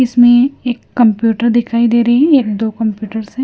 इसमें एक कंप्यूटर दिखाई दे रही है एक दो कंप्यूटर्स है।